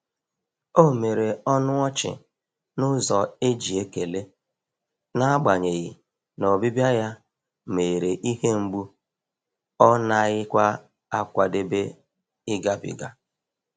O mere ọnụ ọchị n’ụzọ e ji ekele, n'agbanyeghi na ọbịbịa ya meghere ihe mgbu ọ naghịkwa akwadebe ịgabiga.